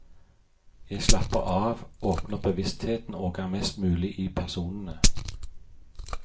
Jeg slapper av, åpner bevisstheten og er mest mulig i personene.